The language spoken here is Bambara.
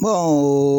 Bon